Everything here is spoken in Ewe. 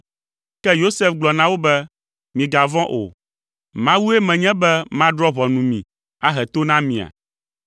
Ke Yosef gblɔ na wo be, “Migavɔ̃ o, Mawue menye be madrɔ̃ ʋɔnu mi, ahe to na mia?